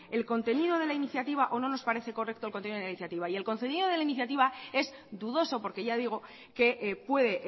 el contenido de la iniciativa o no nos parece correcto el contenido de la iniciativa y el contenido de la iniciativa es dudoso porque ya digo que puede